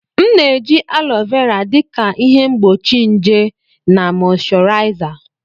M na-eji alo vera dị ka ihe mgbochi nje na mọịshọraịza.